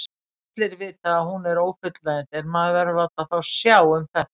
Allir vita að hún er ófullnægjandi en maður verður að láta þá sjá um þetta.